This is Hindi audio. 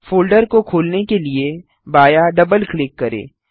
फोल्डर को खोलने के लिए बायाँ डबल क्लिक करें